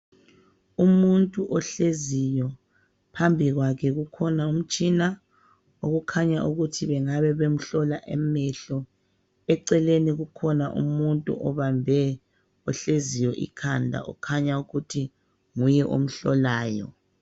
Umuntu ohleziyo, phambi kwakhe kukhona umtshina okhanya ukuthi bengabe bemhlola amehlo. Eceleni kukhona umuntu obambe ohleziyo ikhanda okhanya ukuthi nguye omhlolayo.